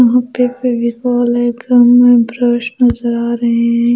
यहाँ पे फेविकोल है गम है ब्रश नज़र आ रहे हैं।